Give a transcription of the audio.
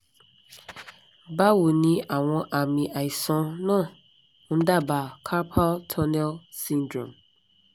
bawo ni awọn ami aisan na n daba carpal tunnel syndrome